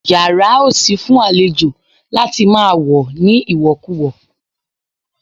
Yàrá ò sí fún àlejò láti máa wọ̀ ní ìwọ̀kuwọ̀